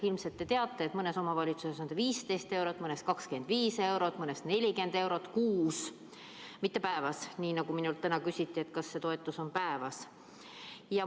Ilmselt te teate, et mõnes omavalitsuses on see 15 eurot, mõnes 25 eurot, mõnes 40 eurot kuus – mitte päevas, nii nagu minult täna küsiti, et kas see toetus on päevas.